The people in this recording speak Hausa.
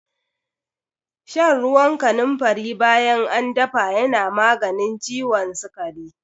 Shan ruwan kanunfari bayan an dafa yana maganin ciwon sikari.